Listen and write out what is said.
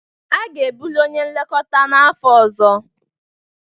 A ga-ebuli onye nlekọta n'afọ ọzọ